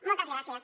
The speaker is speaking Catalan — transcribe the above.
moltes gràcies